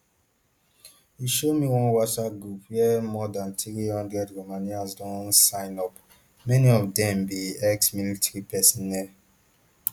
e show me one whatsapp group where more dan three hundred romanians don sign up many of dem be exmilitary personnel